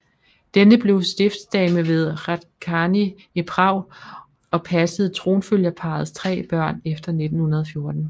Denne blev stiftsdame ved Hradčany i Prag og passede tronfølgerparrets tre børn efter 1914